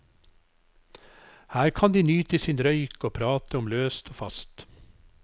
Her kan de nyte sin røyk og prate om løst og fast.